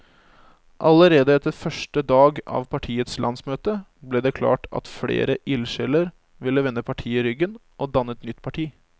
Allerede etter første dag av partiets landsmøte ble det klart at flere ildsjeler ville vende partiet ryggen og danne et nytt parti.